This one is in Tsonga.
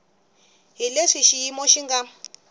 hi leswi xiyimo xi nga